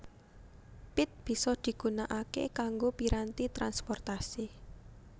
Pit bisa digunakake kanggo piranti transportasi